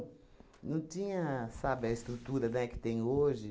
Não tinha, sabe, a estrutura, né, que tem hoje.